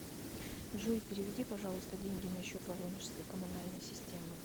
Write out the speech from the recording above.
джой переведи пожалуйста деньги на счет воронежской комунальной системы